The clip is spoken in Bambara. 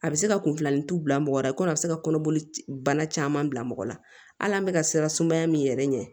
A bɛ se ka kunlannitu bila mɔgɔ la i komi a bɛ se ka kɔnɔboli bana caman bila mɔgɔ la hali an bɛ ka siran sumaya min yɛrɛ ɲɛ